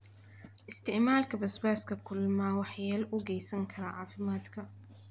Isticmaalka basbaaska kulul ma waxyeello u geysan karaa caafimaadka?